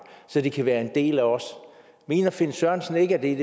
så de kan være en del af os mener finn sørensen ikke at det er